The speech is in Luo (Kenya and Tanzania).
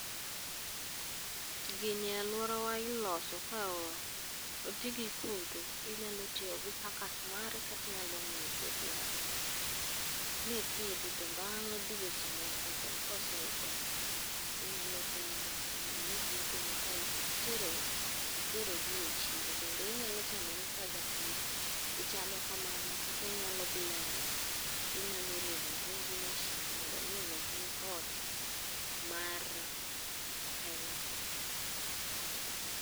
Gini alworawa iloso ka otigi kothe, inyalo tiyo gi suckers mare katinyalo ng'iewo kodhi e Agrovet. Mipidhi to bang' dweche moko to koseikore, inyalo keyo mondo mi iyud yutoni ka iterogie chiro. Bende inyalo chamogi kaka japur, ichamo kamano kata inyalo blend gi. Inyalo rego gi gi mashin mondo omi olosni soda mar pineapple.